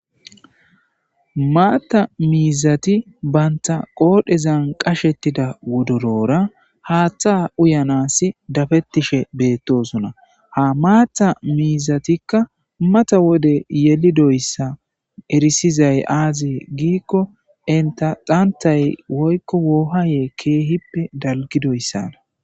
maatta miizati banta qoodhezan qashettida wodorora haaththa uyanas dafettishe beettosuna ha maata miizatikka mata wode yelidoyssa erisizay aazee giikko inta xantay woykko woohayee keehippe dalgidoyssana